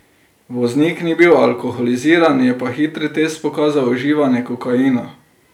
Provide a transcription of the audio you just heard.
Voznik ni bil alkoholiziran, je pa hitri test pokazal uživanje kokaina.